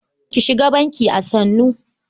Ki shiga bankin a sannu.